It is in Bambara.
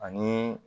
Ani